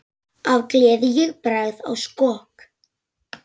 Af gleði ég bregð á skokk.